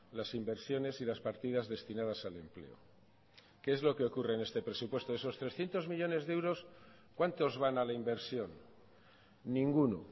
las inversiones y las partidas destinadas al empleo que es lo que ocurre en este presupuesto de esos trescientos millónes de euros cuántos van a la inversión ninguno